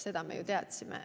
Seda me ju teadsime.